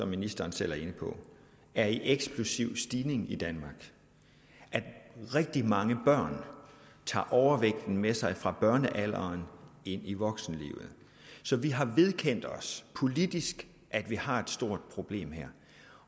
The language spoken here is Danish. ministeren selv er inde på er i eksplosiv stigning i danmark rigtig mange børn tager overvægten med sig fra børnealderen ind i voksenlivet så vi har vedkendt os politisk at vi har et stort problem her